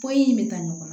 Pɔ in bɛ taa ɲɔgɔn